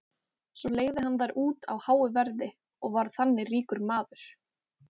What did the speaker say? svo leigði hann þær út á háu verði og varð þannig ríkur maður